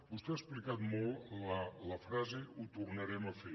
vostè ha explicat molt la frase ho tornarem a fer